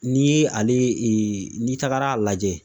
N'i ye ale n'i tagara a lajɛ